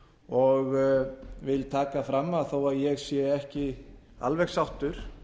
og vil taka fram að þó að ég sé ekki alveg sáttur